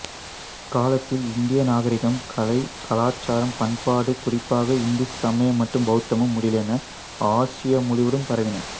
இக்காலத்தில் இந்திய நாகரிகம் கலை கலாச்சாரம் பண்பாடு குறிப்பாக இந்து சமயம் மற்றும் பௌத்தம் முதலியன ஆசியா முழுவதும் பரவின